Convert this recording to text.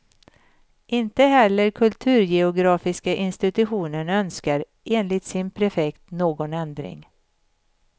Inte heller kulturgeografiska institutionen önskar, enligt sin prefekt, någon ändring.